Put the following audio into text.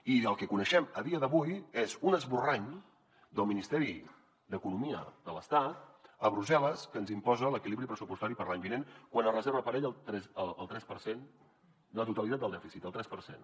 i el que coneixem a dia d’avui és un esborrany del ministeri d’economia de l’estat a brussel·les que ens imposa l’equilibri pressupostari per a l’any vinent quan es reserva per a ell el tres per cent la totalitat del dèficit el tres per cent